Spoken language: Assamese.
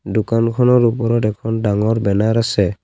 দোকানখনৰ ওপৰত এখন ডাঙৰ বেনাৰ আছে।